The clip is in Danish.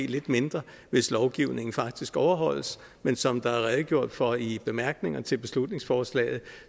lidt mindre hvis lovgivningen faktisk overholdes men som der er redegjort for i bemærkningerne til beslutningsforslaget